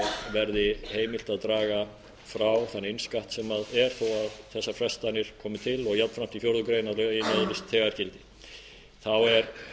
verði heimilt að draga frá þann innskatt sem er þó þessar frestanir komi til og jafnframt í fjórða grein að lögin öðlist þegar gildi þá er